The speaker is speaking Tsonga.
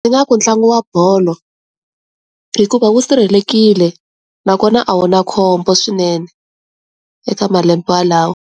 Ndzi nga ku ntlangu wa bolo hikuva wu sirhelelekile na kona a wu na khombo swinene eka malembe yalawo.